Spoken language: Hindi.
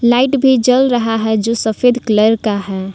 लाइट भी जल रहा है जो सफेद कलर का है।